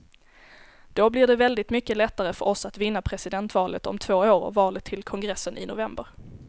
Då blir det väldigt mycket lättare för oss att vinna presidentvalet om två år och valet till kongressen i november.